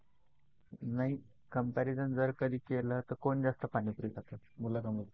नाही comparison जर का कधी केलं तर कोण जास्त पाणीपुरी खात मुलं की मुली?